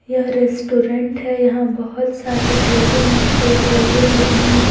यह रेस्टोरेंट है यहां बहुत सारे टेबल एंड चेयर लगे हुए हैं।